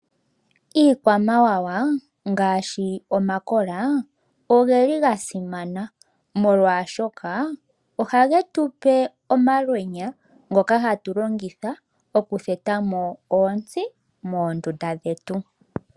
Iikwamawawa ngaashi omakola oyasimana molwashoka ohaga gandja omalwenya kaantu ngoka haya longitha okutheta oontsi moondunda dhawo.